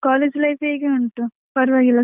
College life ಹೇಗೆ ಉಂಟು? ಪರ್ವಾಗಿಲ್ವ.